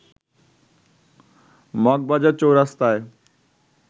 Moghbazar চৌরাস্তায়